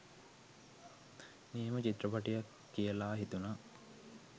නියම චිත්‍රපටියක් කියලා හිතුනා.